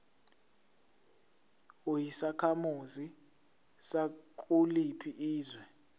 uyisakhamuzi sakuliphi izwe